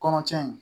Kɔnɔtiɲɛ in